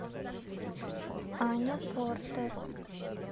аня портер